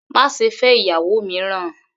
Má ṣe fẹ́ ìyàwó mìíràn!